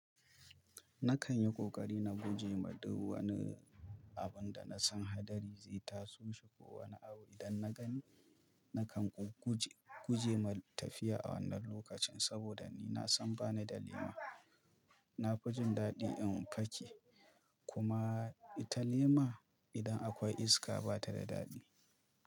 Nakan yi ƙoƙari na guje ma duk wani abun da na san haɗari zai taso shi ko wani abu idan na gani, na kan guje ma tafiya a wannan lokacin saboda ni na san ba ni da lema. Na fi jin daɗi in pake kuma ita lema idan akwai iska batada dadi.